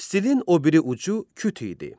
Stilin o biri ucu küt idi.